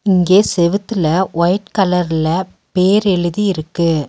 இங்கே செவுத்துல ஒயிட் கலர்ல பேர் எழுதி இருக்கு.